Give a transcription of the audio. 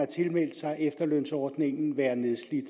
tilmeldt sig efterlønsordningen være nedslidt